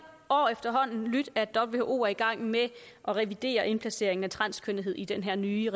år er i gang med at revidere indplaceringen af transkønnethed i den her nye